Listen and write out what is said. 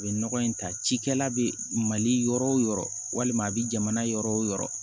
A bɛ nɔgɔ in ta cikɛla bɛ mali yɔrɔ o yɔrɔ walima a bɛ jamana yɔrɔ o yɔrɔ